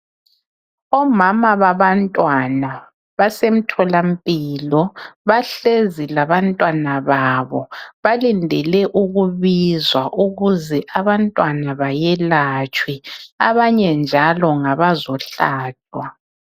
Omama babantwana basemtholampilo bahlezi labantwana babo. Balindele ukubizwa ukuze abantwana bayelatshwe abanye njalo ngabazehlatshwa.